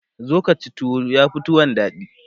zo Kaci tuwo yafi tuwon daɗi